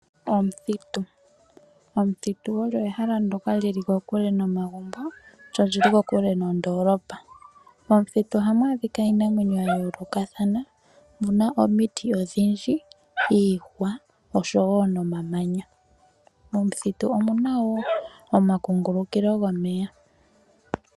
Omuthitu, omuthitu olyo ehala ndyoka li li kokule nomagumbo lyo oli li kokule nondolopa. Momuthitu ohamu adhika iinamwenyo ya yolokathana, omu na omiti odhindji, iihwa noshowo nomamanya. Momuthitu omu na wo omakugulukilo gomeya.